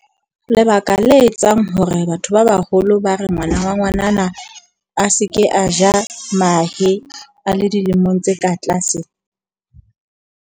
Lebaka le etsang hore batho ba baholo ba re ngwana wa ngwanana, a seke a ja mahe a le dilemong tse ka tlase.